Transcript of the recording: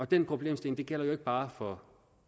den problemstilling gælder jo ikke bare for